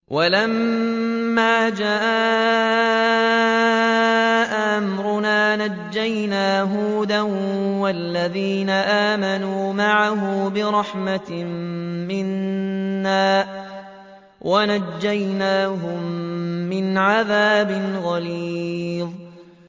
وَلَمَّا جَاءَ أَمْرُنَا نَجَّيْنَا هُودًا وَالَّذِينَ آمَنُوا مَعَهُ بِرَحْمَةٍ مِّنَّا وَنَجَّيْنَاهُم مِّنْ عَذَابٍ غَلِيظٍ